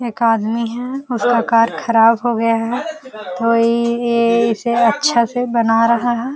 एक आदमी है जिसका कार खराब हो गया है जो इ ये इसे अच्छा से बना रहा है।